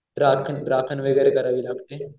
राखण राखण वगैरे करावी लागते.